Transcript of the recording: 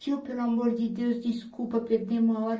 Tio, pelo amor de Deus, desculpa, perdemos a hora.